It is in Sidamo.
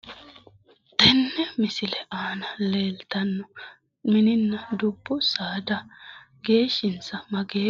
Tenne misile aana leeltanno mininna dubbu saada geeshinsa mageeho?